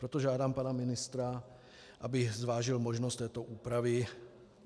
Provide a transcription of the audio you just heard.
Proto žádám pana ministra, aby zvážil možnost této úpravy.